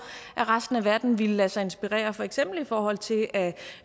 at resten af verden ville lade sig inspirere for eksempel i forhold til at